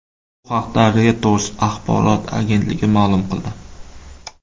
Bu haqida Reuters axborot agentligi ma’lum qildi.